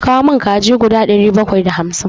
Ka kawo min kaji guda ɗari bakwai da hamsin!